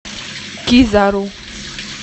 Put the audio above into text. кизару